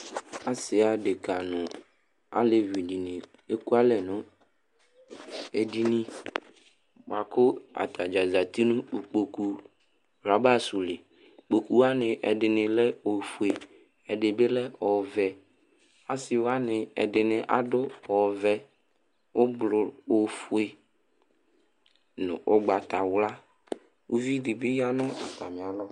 Asi aɖeka ŋu alevi ɖìŋí ɛkʋalɛ ŋu ɛɖìní bʋakʋ atadza zɛti ŋu ikpoku rɔba su li Ikpoku waŋi ɛɖìní le ɔfʋe, ɛɖìbi lɛ ɔvɛ Asiwaŋi ɛɖìní aɖu ɔvɛ, ɔfʋe ŋu ʋgbatawla Iviɖìbi ɣaŋʋ atami alɔ